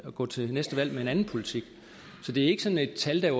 gå til næste valg med en anden politik så det er ikke sådan et tal der